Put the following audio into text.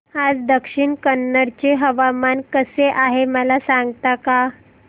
आज दक्षिण कन्नड चे हवामान कसे आहे मला सांगता का